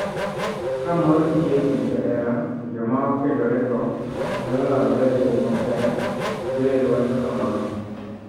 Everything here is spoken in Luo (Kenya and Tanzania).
Ka mor nitie e kind johera, to joma okendorego nyalo lalre e yo maber, Joel wacho kamano.